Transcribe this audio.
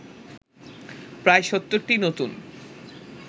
প্রায় ৭০টি নতুন